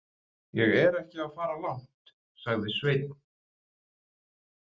Ég er ekki að fara langt, sagði Sveinn.